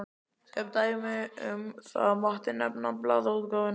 Sem dæmi um það mátti nefna blaðaútgáfuna.